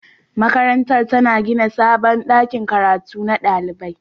Makarantar tana gina sabon ɗakin karatu na ɗalibai.